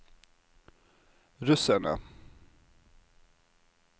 russerne